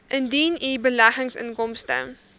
indien u beleggingsinkomste